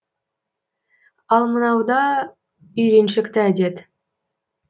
ал мынау да үйреншікті әдет